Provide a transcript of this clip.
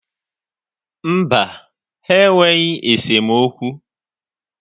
Mba, ha enweghị esemokwu.